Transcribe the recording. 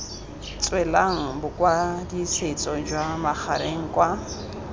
tswelang bokwadisetso jwa magareng kwa